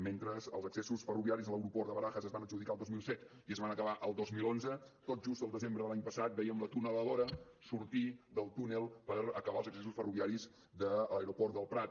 mentre els accessos ferroviaris a l’aeroport de barajas es van adjudicar el dos mil set i es van acabar el dos mil onze tot just el desembre de l’any passat vèiem la tuneladora sortir del túnel per acabar els accessos ferroviaris de l’aeroport del prat